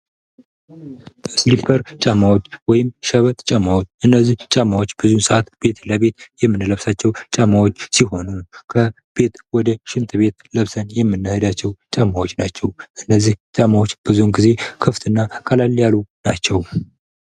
ሲሊፕር ጫማዎች ወይም ሸበጥ ጫማዎች እነዚህ ጫማዎች ብዙን ሰዓት ቤት ለቤት የምንለብሳቸው ሲሆን ከቤት ወደ ሽንት ቤት ለብሰናን የምንሄዳቸው ጫማዎች ናቸው። ስለዚህ እነዚህ ጫማዎች ብዙ ጊዜ ክፍት እና ቀለል ያሉ ናቸው።